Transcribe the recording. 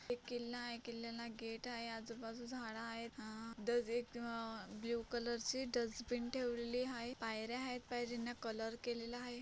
एक किल्ला आहे किल्ल्याला गेट आहे आजूबाजू झाड आहेत अह दज एक ब्ल्यु कलर चे डजबीन ठेवलेली आहे. पायर्‍या आहेत पायरींना कलर केलेला आहे.